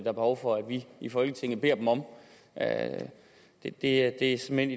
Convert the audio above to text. er behov for vi i folketinget beder dem om at gøre det det er simpelt